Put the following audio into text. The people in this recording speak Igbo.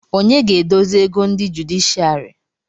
Onye ga-edozi ego ndị jụdịshịàrị